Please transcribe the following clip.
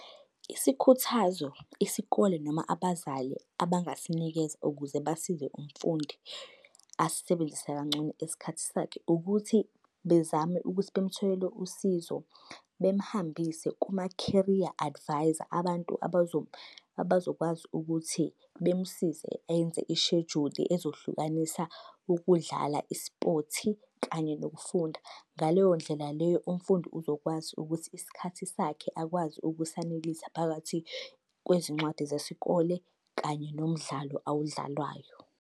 Isikhuthazo isikole noma abazali abangasinikeza ukuze basize umfundi asisebenzise kangcono isikhathi sakhe, ukuthi bezame ukuthi bamtholele usizo, bemuhambise kuma-career advisor. Abantu abazokwazi ukuthi bemsize enze ishejuli ezohlukanisa ukudlala i-sport kanye nokufunda. Ngaleyo ndlela leyo, umfundi uzokwazi ukuthi isikhathi sakhe akwazi ukusanelisa phakathi kwezincwadi zesikole kanye nomdlalo awudlalayo.